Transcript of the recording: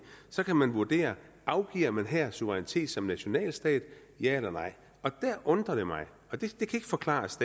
så kan man vurdere afgiver man her suverænitet som nationalstat ja eller nej og det undrer mig og det kan ikke forklares